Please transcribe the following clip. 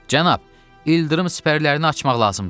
Cənab, ildırım sipərlərini açmaq lazımdır.